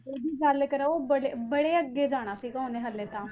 ਉਹਦੀ ਗੱਲ ਕਰਾਂ ਉਹ ਬੜੇ ਬੜੇ ਅੱਗੇ ਜਾਣਾ ਸੀਗਾ ਉਹਨੇ ਹਾਲੇ ਤਾਂ